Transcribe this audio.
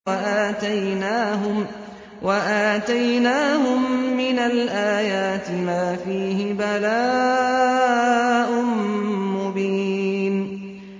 وَآتَيْنَاهُم مِّنَ الْآيَاتِ مَا فِيهِ بَلَاءٌ مُّبِينٌ